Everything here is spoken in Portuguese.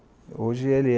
hoje ele